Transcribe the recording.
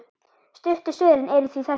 Stuttu svörin eru því þessi